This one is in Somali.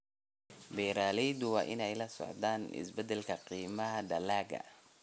Beeraleydu waa inay la socdaan isbeddelka qiimaha dalagga.